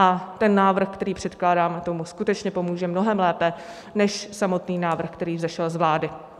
A ten návrh, který předkládáme, tomu skutečně pomůže mnohem lépe než samotný návrh, který vzešel z vlády.